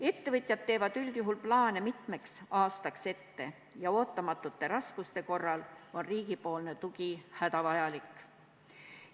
Ettevõtjad teevad üldjuhul plaane mitmeks aastaks ette ja ootamatute raskuste korral on riigi tugi hädavajalik.